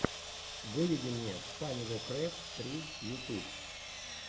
выведи мне фанивокрэфт сри ютюб